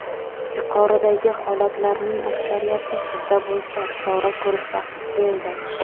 Yuqoridagi holatlarning aksariyati sizda bo‘lsa, chora ko‘rish vaqti keldi.